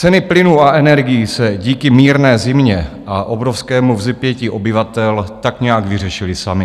Ceny plynu a energií se díky mírné zimě a obrovskému vzepětí obyvatel tak nějak vyřešily samy.